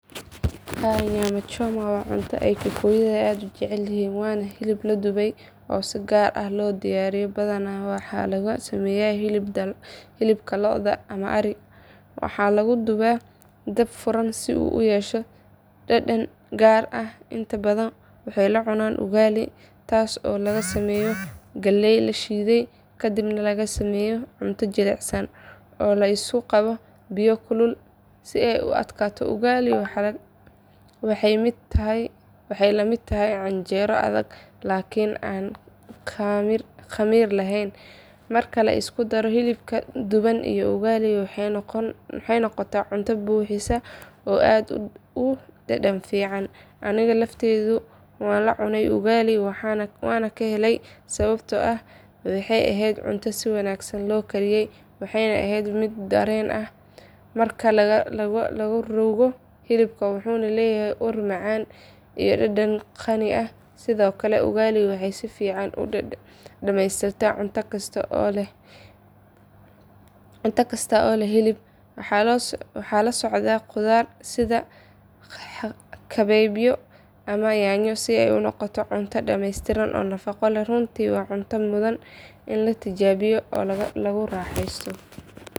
Haa nyama choma waa cunto ay kikuyada aad u jecel yihiin waana hilib la dubay oo si gaar ah loo diyaariyo badanaa waxaa lagu sameeyaa hilib lo’aad ama ari waxaana lagu dubaa dab furan si uu u yeesho dhadhan gaar ah inta badan waxay la cunaan ugali taas oo laga sameeyo galley la shiiday kadibna laga sameeyo cunto jilicsan oo la isku qaso biyo kulul si ay u adkaato ugali waxay lamid tahay canjeero adag laakiin aan khamiir lahayn marka la isku daro hilibka duban iyo ugali waxay noqotaa cunto buuxisa oo aad u dhadhan fiican aniga laftaydu waan la cunay ugali waana ka helay sababtoo ah waxay ahayd cunto si wanaagsan loo kariyay waxayna ahayd mid dareen ah marka la ruugo hilibka wuxuu leeyahay ur macaan iyo dhadhan qani ah sidoo kale ugali waxay si fiican u dhammaystirtaa cunto kasta oo leh hilib waxaa la socda khudaar sida kabeebyo ama yaanyo si ay u noqoto cunto dhameystiran oo nafaqo leh runtii waa cunto mudan in la tijaabiyo oo lagu raaxaysto.